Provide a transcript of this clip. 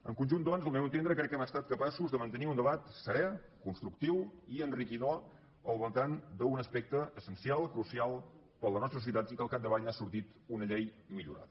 en conjunt doncs al meu entendre crec que hem estat capaços de mantenir un debat serè constructiu i enriquidor al voltant d’un aspecte essencial crucial per a la nostra societat i que al capdavall n’ha sortit una llei millorada